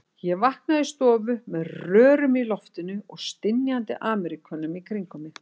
Ég vaknaði í stofu með rörum í loftinu og stynjandi Ameríkönum í kringum mig.